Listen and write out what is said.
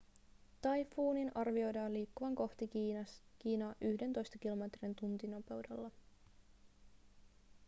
taifuunin arvioidaan liikkuvan kohti kiinaa yhdentoista kilometrin tuntinopeudella